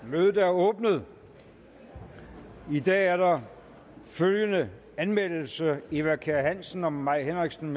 mødet er åbnet i dag er der følgende anmeldelse eva kjer hansen og mai henriksen